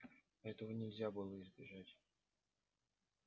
этого нельзя было избежать